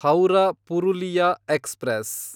Howrah Purulia express